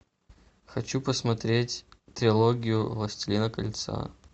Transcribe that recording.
хочу посмотреть трилогию властелина кольца